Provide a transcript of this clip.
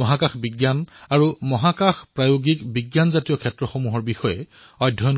মহাকাশ বিজ্ঞান আৰু মহাকাশৰ প্ৰণালীসমূহৰ বিষয়ে শিকিব পাৰে